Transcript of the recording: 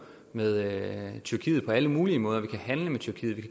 med tyrkiet på alle mulige måder vi kan handle med tyrkiet og